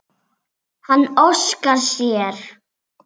Hann óskar sér.